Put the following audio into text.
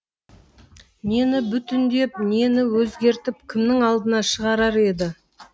нені бүтіндеп нені өзгертіп кімнің алдына шығарар еді